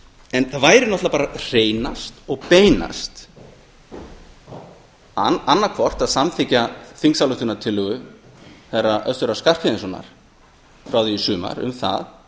það það væri náttúrlega bara hreinast og beinast annað hvort að samþykkja þingsályktunartillögu þeirra össurar skarphéðinssonar frá því í sumar um